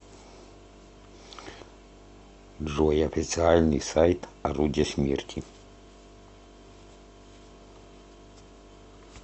джой официальный сайт орудия смерти